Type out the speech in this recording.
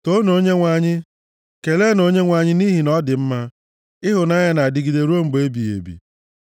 Toonu Onyenwe anyị. Keleenụ Onyenwe anyị nʼihi na ọ dị mma; Ịhụnanya ya na-adịgide ruo mgbe ebighị ebi.